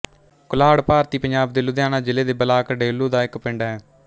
ਕੁਲਾਹੜ ਭਾਰਤੀ ਪੰਜਾਬ ਦੇ ਲੁਧਿਆਣਾ ਜ਼ਿਲ੍ਹੇ ਦੇ ਬਲਾਕ ਡੇਹਲੋਂ ਦਾ ਇੱਕ ਪਿੰਡ ਹੈ